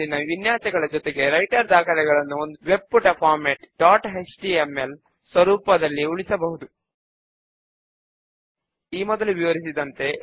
5 వ step controls ను arrange చేద్దాము